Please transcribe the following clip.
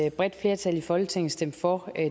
et bredt flertal i folketinget stemte for